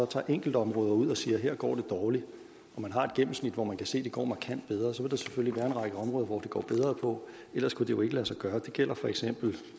tager enkeltområder ud og siger at her går det dårligt og man har et gennemsnit hvor man kan se at det går markant bedre så vil der selvfølgelig være en række områder hvor det går bedre ellers kunne det jo ikke lade sig gøre det gælder for eksempel